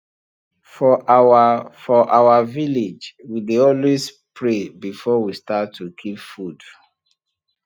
for our for our village we dey always pray before we start to keep food